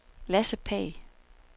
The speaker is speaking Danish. Lasse Pagh